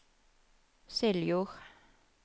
Seljord